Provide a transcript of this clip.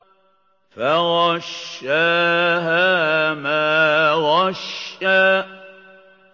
فَغَشَّاهَا مَا غَشَّىٰ